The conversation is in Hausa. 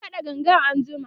zan kaɗa gangan anjima